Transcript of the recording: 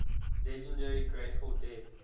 legendary grateful dead